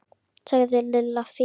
sagði Lilla fýld.